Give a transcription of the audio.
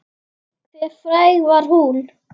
Hve fræg var hún?